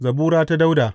Zabura ta Dawuda.